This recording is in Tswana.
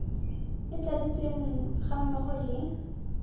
e tladitsweng ga mmogo le